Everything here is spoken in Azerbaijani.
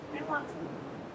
Nə qəsəng?